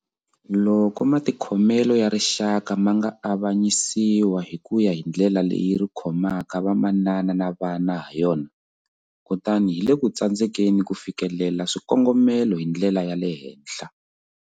Loko matikhomelo ya rixaka ma nga avanyisiwa hi ku ya hi ndlela leyi ri khomaka vamanana na vana hayona, kutani hi le ku tsandzekeni ku fikelela swikongomelo hi ndlela ya le henhla.